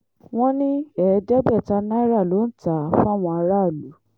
wọ́n ní ẹ̀ẹ́dẹ́gbẹ̀ta náírà ló ń tà á fáwọn aráàlú